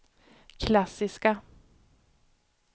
klassiska